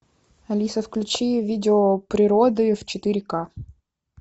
алиса включи видео природы в четыре ка